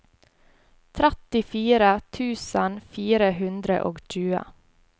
trettifire tusen fire hundre og tjue